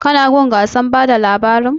Ka na gun gasar bada labarin?